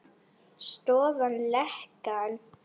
Stöðva lekann.